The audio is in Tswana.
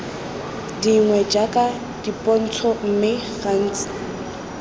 dingwe jaaka dipontsho mme gantsi